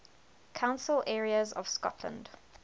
council areas of scotland